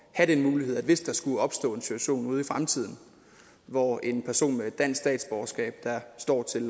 have den mulighed hvis der skulle opstå en situation ude i fremtiden hvor en person med et dansk statsborgerskab der står til